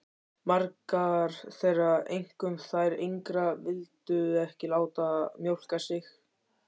Margar þeirra, einkum þær yngri, vildu ekki láta mjólka sig.